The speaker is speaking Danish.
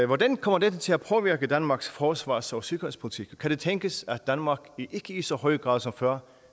hvordan kommer dette til at påvirke danmarks forsvars og sikkerhedspolitik kan det tænkes at danmark ikke i så høj grad som før